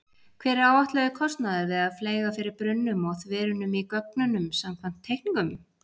Hver er áætlaður kostnaður við að fleyga fyrir brunnum og þverunum í göngunum samkvæmt teikningum?